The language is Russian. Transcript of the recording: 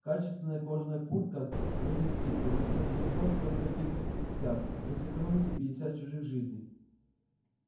качественная кожаная куртка сегодня скидка вместо трёхсот только двести пятьдесят вы сэкономите пятьдесят чужих жизней